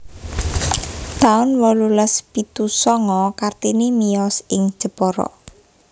taun wolulas pitu sanga Kartini miyos ing Jepara